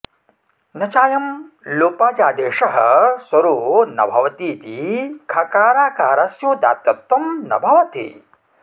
न चायं लोपाजादेशः स्वरो न भवतीति खकाराकारस्योदात्तत्वं न भवति